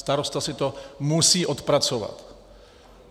Starosta si to musí odpracovat.